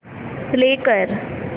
play कर